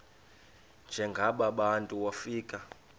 njengaba bantu wofika